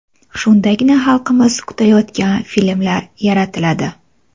Shundagina xalqimiz kutayotgan filmlar yaratiladi.